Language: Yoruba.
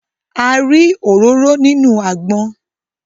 A rí òróró nínú àgbọn